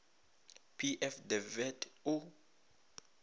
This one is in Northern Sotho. p f de wet o